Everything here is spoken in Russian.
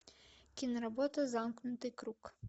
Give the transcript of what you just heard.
киноработа замкнутый круг